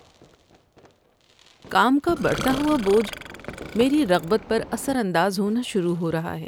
کام کا بڑھتا ہوا بوجھ میری رغبت پر اثر انداز ہونا شروع ہو رہا ہے۔